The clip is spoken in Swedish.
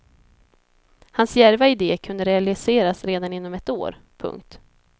Hans djärva ide kunde realiseras redan inom ett år. punkt